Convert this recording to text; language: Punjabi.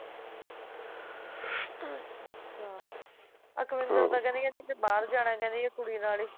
ਅਕਵਿੰਦਰ ਤਾਂ ਕਹਿੰਦੀ ਬਾਹਰ ਜਾਣਾ ਜਾਂਦੀ ਹੈ ਉਹ ਕੁੜੀ ਨਾਲ ਹੀ